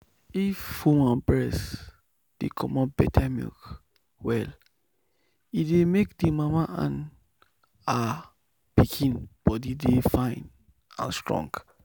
if woman breast dey comot better milk well e dey make the mama and ah pikin body dey fine and strong.